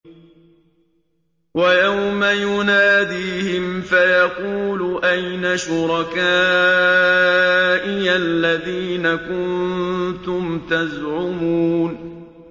وَيَوْمَ يُنَادِيهِمْ فَيَقُولُ أَيْنَ شُرَكَائِيَ الَّذِينَ كُنتُمْ تَزْعُمُونَ